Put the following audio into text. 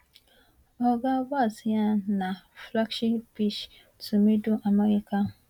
oga walz yarn na flokshi pish to middle america